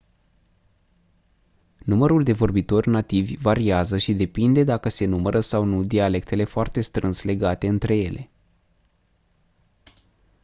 numărul de vorbitori nativi variază și depinde dacă se numără sau nu dialectele foarte strâns legate între ele